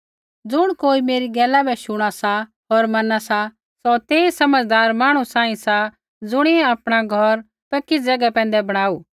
ज़ुण कोई मेरी गैला बै शुणा सा होर मैना सा सौ तेई समझ़दार मांहणु सांही सा ज़ुणियै आपणा घौर पक्की ज़ैगा पैंधै बणाऊ